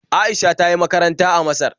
Aisha ta yi makaranta a Masar